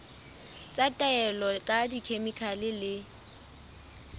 tsa taolo ka dikhemikhale le